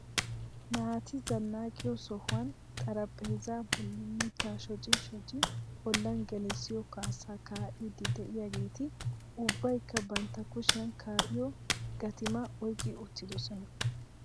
Naati zannaqiyo sohuwan xaraphpheezza bolli mittaara shocci shocci ollan gelissiyo kaassa kaa'idi de'iyaageeti ubbaykka bantta kushiyaan kaa'iyo gattuma oyqqi uttidoosona.